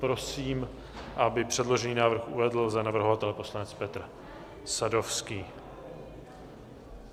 Prosím, aby předložený návrh uvedl za navrhovatele poslanec Petr Sadovský.